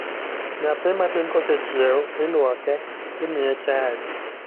Nyathi matin kosechiew, ilwoke, imiye chai